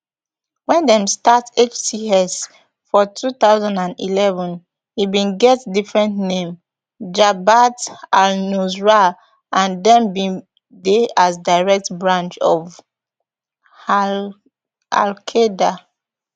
wen dem start hts for two thousand and eleven e bin get different name jabhat alnusra and dem bin dey as direct branch of alqaeda